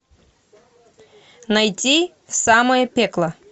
найти в самое пекло